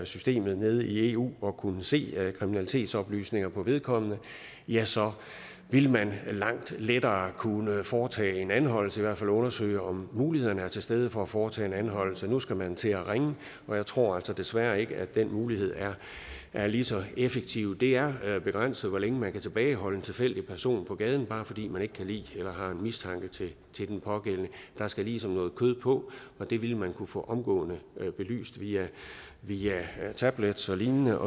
systemet nede i eu for at kunne se kriminalitetsoplysninger på vedkommende ja så ville man langt lettere kunne foretage en anholdelse eller i hvert fald undersøge om mulighederne er til stede for at foretage en anholdelse nu skal man til at ringe og jeg tror altså desværre ikke at den mulighed er er lige så effektiv det er begrænset hvor længe man kan tilbageholde en tilfældig person på gaden bare fordi man ikke kan lide eller har mistanke til den pågældende der skal ligesom noget kød på og det ville man kunne få omgående belyst via tablets og lignende